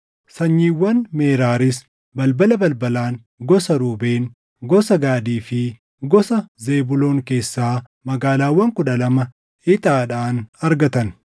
Sanyiiwwan Meraariis balbala balbalaan gosa Ruubeen, gosa Gaadii fi gosa Zebuuloon keessaa magaalaawwan kudha lama ixaadhaan argatan.